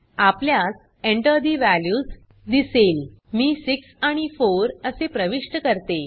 आपल्यास enter ठे values दिसेल मी 6आणि 4असे प्रविष्ट करते